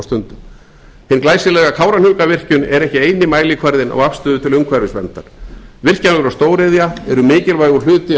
stundum hin glæsilega kárahnjúkavirkjun er ekki eini mælikvarðinn á afstöðu til umhverfisverndar virkjanir og stóriðja eru mikilvægur hluti af